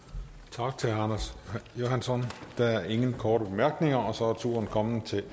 tak til herre anders johansson der er ingen korte bemærkninger og så er turen kommet til